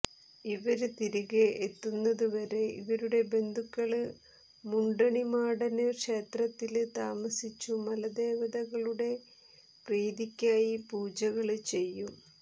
ഇവര് തിരികെ എത്തുന്നതുവരെ ഇവരുടെ ബന്ധുക്കള് മുണ്ടണി മാടന് ക്ഷേത്രത്തില് താമസിച്ചു മലദേവതകളുടെ പ്രീതിക്കായി പൂജകള് ചെയ്യും